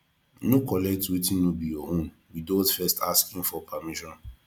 no collect wetin no be your own withot first asking for permission